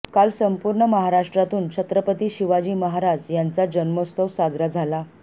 काल संपूर्ण महाराष्ट्रातून छत्रपती शिवाजी महाराज यांचा जन्मोत्सव साजरा झाला